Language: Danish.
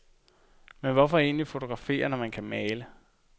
Men hvorfor egentlig fotografere, når man kan male?